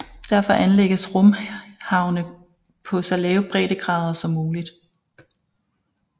Derfor anlægges rumhavne på så lave breddegrader som muligt